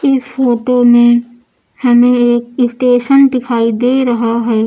इस फोटो में हमे एक स्टेशन दिखाई दे रहा है।